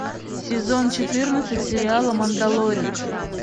сезона четырнадцать сериала мандалорец